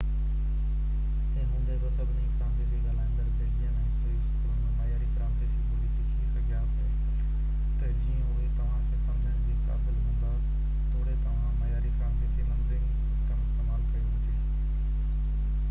تنهن هوندي بہ سڀئي فرانسيسي ڳالهائيندڙ بيلجين ۽ سوئس اسڪول ۾ معياري فرانسيسي ٻولي سکي سگهيا پي تہ جيئن اهي توهان کي سمجهڻ جي قابل هوندا توڙي توهان معياري فرانسيسي نمبرنگ سسٽم استعمال ڪيو هجي